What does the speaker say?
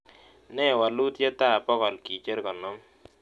Nee waluitietap bogol kicher gonom